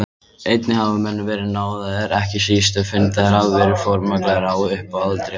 Einnig hafa menn verið náðaðir, ekki síst ef fundnir hafa verið formgallar á upphaflegu réttarhaldi.